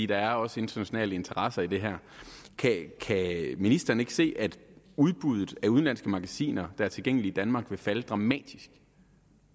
der er også internationale interesser i det her kan ministeren så ikke se at udbuddet af udenlandske magasiner der er tilgængelige i danmark vil falde dramatisk